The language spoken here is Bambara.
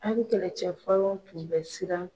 Alu kɛlɛcɛ fɔlɔ tun bɛ siran.